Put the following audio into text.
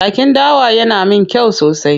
Jakin dawa yana min kyau sosai.